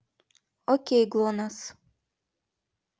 окей глонасс